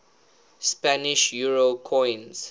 spanish euro coins